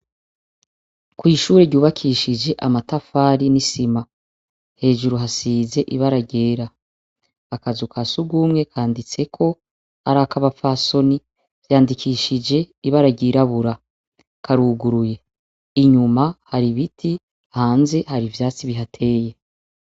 Kw'ishure ryubakishije amatafari n'isima, Hejuru hasize ibara ryera. Akazu ka surwumwe kanditseko ar'akabaphasoni, vyandikishije ibara ryirabura. Karuguruye. Inyuma hari ibiti, hanze hari ibiti bihateye.